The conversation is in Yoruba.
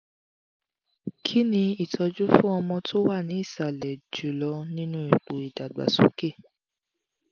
kini itoju fún ọmọ tó wà ní ìsàlẹ̀ jùlọ nínú ipo ìdàgbàsókè?